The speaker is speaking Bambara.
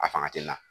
A fanga tɛ n na